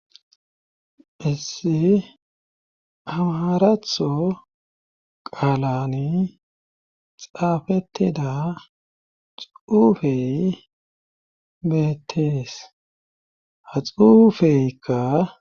Hissi amaratho qaalani xaafettida xuufey beettees ha xuufeykka